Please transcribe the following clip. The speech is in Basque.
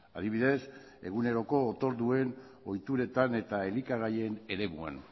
adibidez eguneroko otorduen ohituretan eta elikagaien eremuan